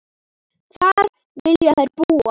Hvar vilja þær búa?